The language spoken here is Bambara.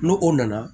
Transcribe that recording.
N'o o nana